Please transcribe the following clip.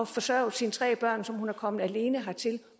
forsørget sine tre børn som hun er kommet alene hertil